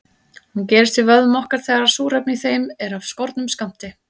Hún gerist í vöðvum okkar þegar súrefni í þeim er af skornum skammti.